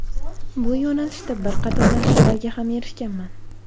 Bu yo‘nalishda bir qator natijalarga ham erishganman.